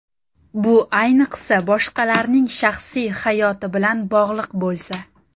Bu ayniqsa, boshqalarning shaxsiy hayoti bilan bog‘liq bo‘lsa.